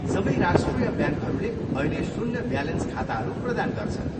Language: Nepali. सबै राष्ट्रिय ब्याङ्कहरूले अहिले शून्य ब्यालेन्स खाताहरू प्रदान गर्छन्।